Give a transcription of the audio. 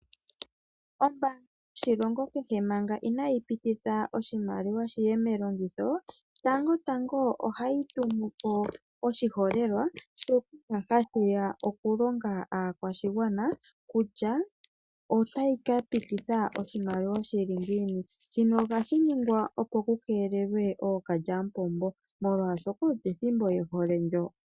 Ombaanga yoshilongo kehe manga inayi pititha oshimaliwa shi ye melongitho, tango tango ohayi tumu po oshiholelwa shono hashi ya okulonga po aakwashigwana kutya otayi ka pititha oshimaliwa shi li ngiini. Shino ohashi ningwa, opo ku keelelwe ookalyamupombo, molwashoka olyo ethimbo ye hole ndyo.